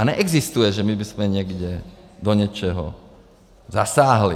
A neexistuje, že my bychom někde do něčeho zasáhli.